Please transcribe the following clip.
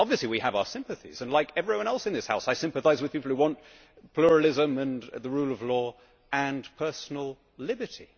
Obviously we have our sympathies and I, like everyone else in this House, sympathise with people who want pluralism and the rule of law and personal liberty.